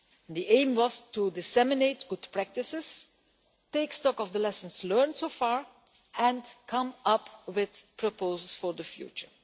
The aim was to disseminate good practices, take stock of the lessons learned so far and come up with proposals for the future.